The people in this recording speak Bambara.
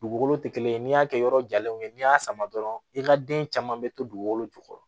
Dugukolo tɛ kelen ni y'a kɛ yɔrɔ jalenw ye n'i y'a sama dɔrɔn i ka den caman bɛ to dugukolo jukɔrɔ